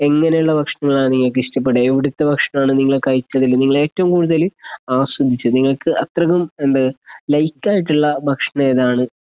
എങ്ങനെയുള്ള ഭക്ഷണമാ നിങ്ങൾക്ക് ഇഷ്ടപെട്ടത് എവിടുത്തേ ഭക്ഷണമാണ് നിങ്ങള് കഴിച്ചതിൽ നിങ്ങള് ഏറ്റവും കൂടുതൽ ആസ്വദിച്ചത് നിങ്ങൾക്ക് അത്രക്കും എന്ത് ലൈക്ക് ആയിട്ടുള്ള ഭക്ഷണം ഏതാണ്